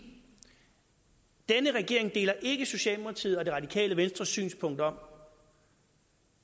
denne regering deler ikke socialdemokratiets og det radikale venstres synspunkt om